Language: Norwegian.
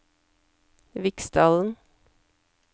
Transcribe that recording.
Viksdalen